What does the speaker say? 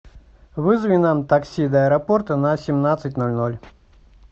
вызови нам такси до аэропорта на семнадцать ноль ноль